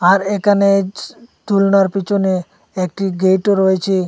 আর এখানে য দুলনার পিছনে একটি গেটও রয়েছে।